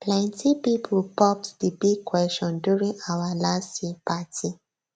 plenty people popped di big question during our last year party